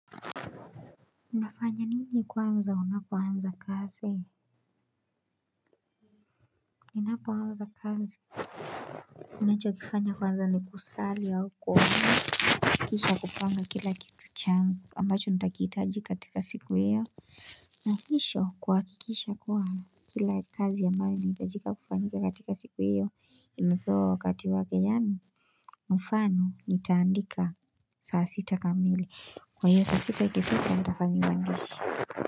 Unafanya nini kwanza, unapoanza kazi, ninapoanza kazi. Ninachokifanya kwanza ni kusali au kuomba, kisha kupanga kila kitu changu, ambacho nitakihitaji katika siku hiyo. Na kisha kuhakikisha kuwa kila kazi ambayo inahitajika kufanyika katika siku hiyo, imepewa wakati wake yaani. Mfano, nitaandika saa sita kamili, kwa hiyo saa sita ikifika, nitafanya uandishi.